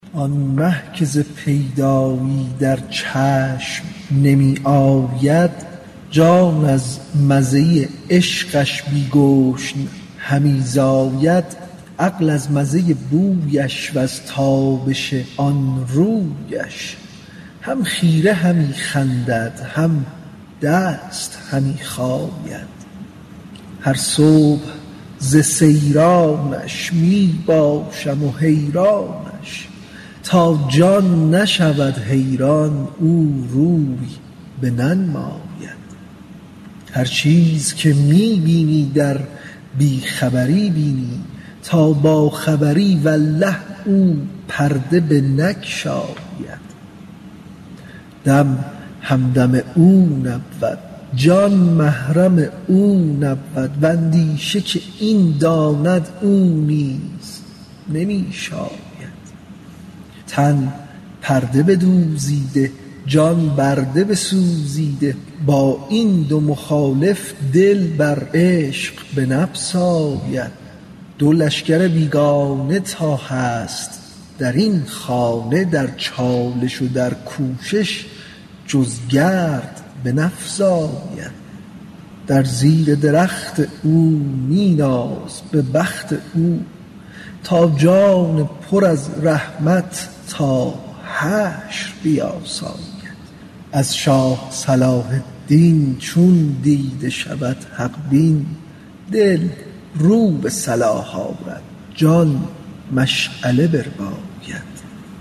آن مه که ز پیدایی در چشم نمی آید جان از مزه عشقش بی گشن همی زاید عقل از مزه بویش وز تابش آن رویش هم خیره همی خندد هم دست همی خاید هر صبح ز سیرانش می باشم حیرانش تا جان نشود حیران او روی بننماید هر چیز که می بینی در بی خبری بینی تا باخبری والله او پرده بنگشاید دم همدم او نبود جان محرم او نبود و اندیشه که این داند او نیز نمی شاید تن پرده بدوزیده جان برده بسوزیده با این دو مخالف دل بر عشق بنبساید دو لشکر بیگانه تا هست در این خانه در چالش و در کوشش جز گرد بنفزاید در زیر درخت او می ناز به بخت او تا جان پر از رحمت تا حشر بیاساید از شاه صلاح الدین چون دیده شود حق بین دل رو به صلاح آرد جان مشعله برباید